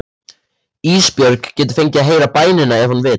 Ísbjörg getur fengið að heyra bænina ef hún vill.